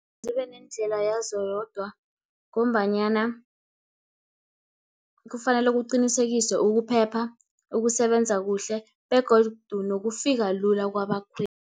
Zibe nendlela yazo yodwa, ngombanyana kufanele kuqinisekiswe ukuphepha, ukusebenza kuhle, begodu nokufika lula kwabakhweli.